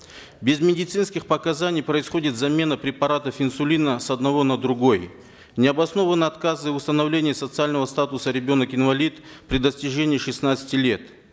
без медицинских показаний происходит замена препаратов инсулина с одного на другой необоснованны отказы в установлении социального статуса ребенок инвалид при достижении шестнадцати лет